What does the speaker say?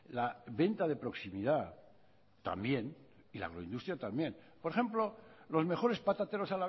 la venta de proximidad también y la agroindustria también por ejemplo los mejores patateros